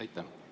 Aitäh!